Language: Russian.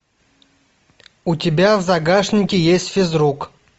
у тебя в загашнике есть физрук